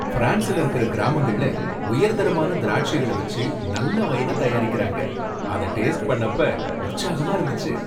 ஃபிரான்ஸ்ல இருக்குற கிராமங்கள்ல உயர்தரமான திராட்சைகள வச்சி நல்ல வைன தயாரிக்கறாங்க. அத டேஸ்ட் பண்ணப்ப உற்சாகமா இருந்துச்சு.